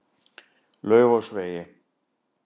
Laufásvegi